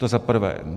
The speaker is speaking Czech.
To za prvé.